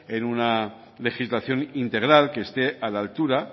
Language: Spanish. en una legislación integral que esté a la altura